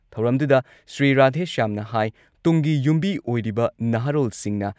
ꯊꯧꯔꯝꯗꯨꯗ ꯁ꯭ꯔꯤ ꯔꯥꯙꯦꯁ꯭ꯌꯥꯝꯅ ꯍꯥꯏ ꯇꯨꯡꯒꯤ ꯌꯨꯝꯕꯤ ꯑꯣꯏꯔꯤꯕ ꯅꯍꯥꯔꯣꯜꯁꯤꯡꯅ